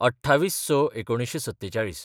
२८/०६/१९४७